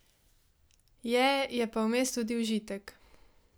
Je, je pa vmes tudi užitek.